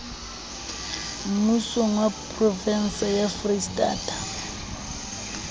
mmusong wa provense ya freistata